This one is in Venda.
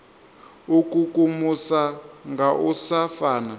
ikukumusa nga u sa fana